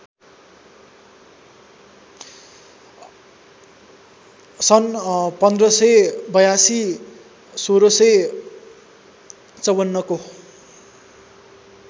सन् १५८२ १६५४ को